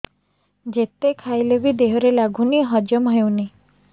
ଯେତେ ଖାଇଲେ ବି ଦେହରେ ଲାଗୁନି ହଜମ ହଉନି